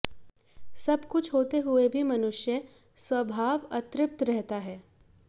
सब कुछ होते हुए भी मनुष्य स्वभाव अतृप्त रहता है